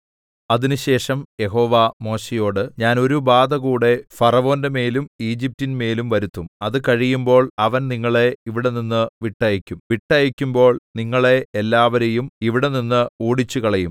അതിനുശേഷം യഹോവ മോശെയോട് ഞാൻ ഒരു ബാധകൂടെ ഫറവോന്റെമേലും ഈജിപ്റ്റിന്മേലും വരുത്തും അതുകഴിയുമ്പോൾ അവൻ നിങ്ങളെ ഇവിടെനിന്ന് വിട്ടയയ്ക്കും വിട്ടയയ്ക്കുമ്പോൾ നിങ്ങളെ എല്ലാവരെയും ഇവിടെനിന്ന് ഓടിച്ചുകളയും